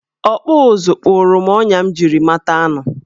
Ọkpụụzụ kpụrụ m ọnya m jiri mata anụ.